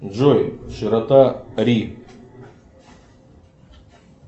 джой широта ри